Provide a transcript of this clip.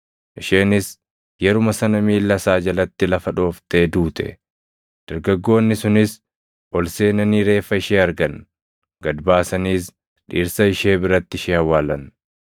Isheenis yeruma sana miilla isaa jalatti lafa dhooftee duute; dargaggoonni sunis ol seenanii reeffa ishee argan; gad baasaniis dhirsa ishee biratti ishee awwaalan.